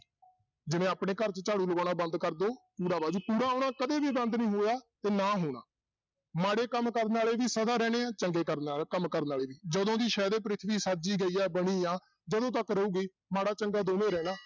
ਜਿਵੇਂ ਆਪਣੇ ਘਰ 'ਚ ਝਾੜੂ ਲਗਾਉਣਾ ਬੰਦ ਕਰ ਦਓ ਕੂੜਾ ਕੂੜਾ ਆਉਣਾ ਕਦੇ ਵੀ ਬੰਦ ਨੀ ਹੋਇਆ ਤੇ ਨਾ ਹੋਣਾ, ਮਾੜੇ ਕੰਮ ਕਰਨ ਵਾਲੇ ਵੀ ਸਦਾ ਰਹਿਣਾ ਆਂ, ਚੰਗੇ ਕਰਨ ਕੰਮ ਕਰਨ ਵਾਲੇ ਵੀ ਜਦੋਂ ਦੀ ਸ਼ਾਇਦ ਇਹ ਪ੍ਰਿਥਵੀ ਸਾਜੀ ਗਈ ਹੈ ਬਣੀ ਆ ਜਦੋਂ ਤੱਕ ਰਹੇਗੀ, ਮਾੜਾ ਚੰਗਾ ਦੋਵੇਂ ਰਹਿਣਾ।